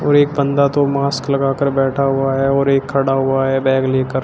और एक बंदा तो मास्क लगा कर बैठा हुआ है और एक खड़ा हुआ है बैग लेकर।